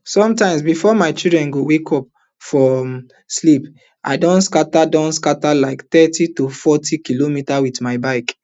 sometimes bifor my children go wake up from um sleep i don scata don scata like thirty to forty kilometres wit my bicycle